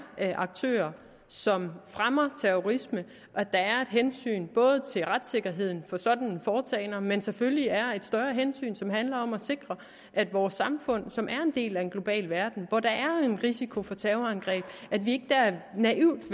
aktører som fremmer terrorisme der er et hensyn til retssikkerheden for sådanne foretagender men selvfølgelig er der et større hensyn som handler om at sikre at vores samfund som er en del af en global verden hvor der er en risiko for terrorangreb ikke naivt